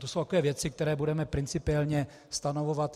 To jsou takové věci, které budeme principiálně stanovovat.